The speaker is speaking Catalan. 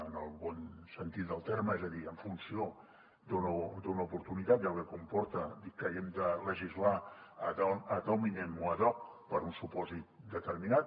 en el bon sentit del terme és a dir en funció d’una oportunitat i el que comporta que haguem de legislar ad hominem o ad hoc per a un supòsit determinat